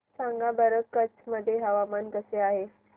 सांगा बरं कच्छ मध्ये हवामान कसे आहे